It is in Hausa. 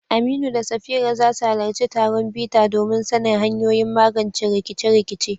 Aminu da Safira za su halarci taron bita domin sanin hanyoyin magance rikice-rikice.